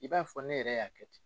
I b'a fɔ ne yɛrɛ y'a kɛ ten.